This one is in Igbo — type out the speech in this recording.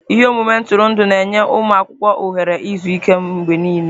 Ihe omume ntụrụndụ na-enye ụmụ akwụkwọ ohere izu ike mgbe niile.